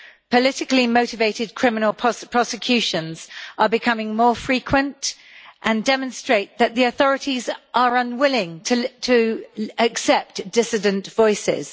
Politically motivated criminal prosecutions are becoming more frequent and demonstrate that the authorities are unwilling to accept dissident voices.